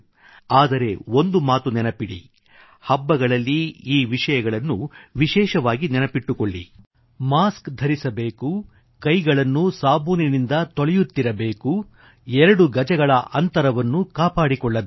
ಆದರೆ ಒಂದು ಮಾತು ನೆನಪಿಡಿ ಹಬ್ಬಗಳಲ್ಲಿ ಈ ವಿಷಯಗಳನ್ನು ವಿಶೇಷವಾಗಿ ನೆನಪಿಟ್ಟುಕೊಳ್ಳಿ ಮಾಸ್ಕ್ ಧರಿಸಬೇಕು ಕೈಗಳನ್ನು ಸಾಬೂನಿನಿಂದ ತೊಳೆಯುತ್ತಿರಬೇಕು ಎರಡು ಗಜಗಳ ಅಂತರವನ್ನು ಕಾಪಾಡಿಕೊಳ್ಳಬೇಕು